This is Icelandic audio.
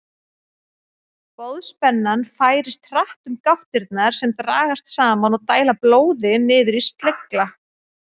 Boðspennan færist hratt um gáttirnar sem dragast saman og dæla blóði niður í slegla.